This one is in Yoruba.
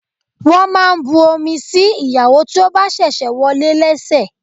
Wọ́n máa ń bu omi sí ìyàwó tí ó bá ṣẹ̀ṣẹ̀ wọlé lẹ́sẹ̀.